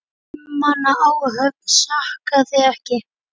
Fimm manna áhöfn sakaði ekki.